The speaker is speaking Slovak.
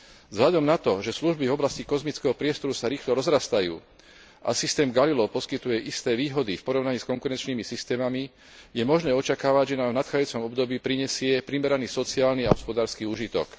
Vzhľadom na to, že služby oblasti kozmického priestoru sa rýchlo rozrastajú a systém Galileo poskytuje isté výhody v porovnaní s konkurenčnými systémami, je možné očakávať, že nám nadchádzajúcom období prinesie primeraný sociálny a hospodársky úžitok.